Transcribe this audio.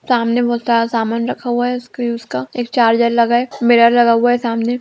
सामने बहुत सारा सामान रखा हुआ है उसके यूज़(use) का एक चार्जर लगा है मिरर लगा हुआ है सामने।